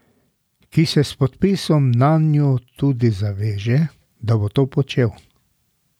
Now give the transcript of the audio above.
Ki se s podpisom nanjo tudi zaveže, da bo to počel.